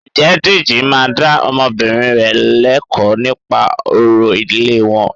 Ǹjẹ́ Dèjì máa dá ọmọbìnrin rẹ lẹ́kọ̀ọ́ nípa orò ìdílé wọn?